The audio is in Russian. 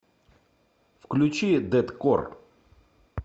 включи дэткор